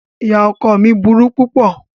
Ìyá ọkọ ọ mí burú púpọ̀.